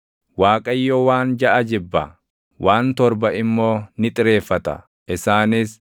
Waaqayyo waan jaʼa jibba; waan torba immoo ni xireeffata; isaanis: